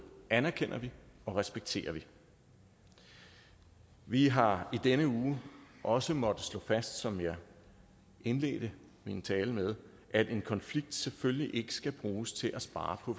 anerkender og respekterer vi vi har i denne uge også måttet slå fast som jeg indledte min tale med at en konflikt selvfølgelig ikke skal bruges til at spare på